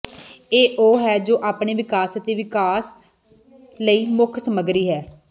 ਇਹ ਉਹ ਹੈ ਜੋ ਆਪਣੇ ਵਿਕਾਸ ਅਤੇ ਵਿਕਾਸ ਲਈ ਮੁੱਖ ਸਮੱਗਰੀ ਹੈ